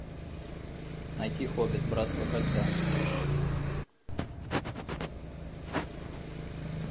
найти хоббит братство кольца